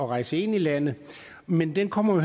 rejse ind i landet men det kommer